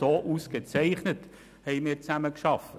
So ausgezeichnet haben wir zusammengearbeitet.